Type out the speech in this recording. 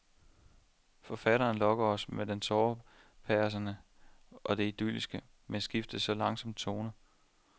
Forfatteren lokker os med det tårepersende og det idylliske, men skifter så langsomt tone.